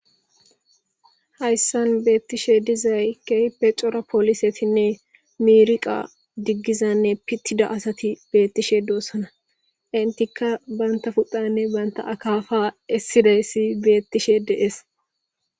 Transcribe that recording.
hayssan beettishe dizay keype cora poolisetinne miiriqa diggizanne pittida asati beettishe doossona intikka banta pudhanne banta akaafa essidayssi beettishe de'ees